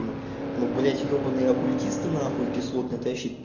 м ну блять ебанные оккультисты нахуй кислотные это вообще пи